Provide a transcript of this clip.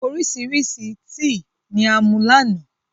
Oríṣiríṣi tíì ní a mu láánà